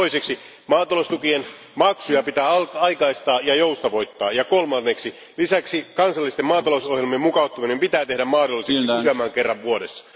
Toiseksi maataloustukien maksuja pitää aikaistaa ja joustavoittaa, ja kolmanneksi lisäksi kansallisten maatalousohjelmien mukauttaminen pitää tehdä mahdolliseksi useamman kerran vuodessa.